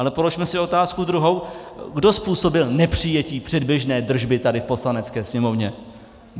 Ale položme si otázku druhou, kdo způsobil nepřijetí předběžné držby tady v Poslanecké sněmovně?